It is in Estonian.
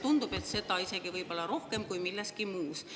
Tundub, et selles isegi rohkem kui milleski muus.